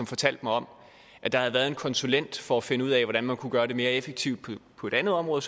fortalte mig om at der havde været en konsulent for at finde ud af hvordan man kunne gøre det mere effektivt på et andet område